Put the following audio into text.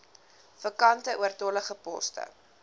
vakante oortollige poste